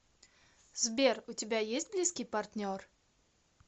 сбер у тебя есть близкий партнер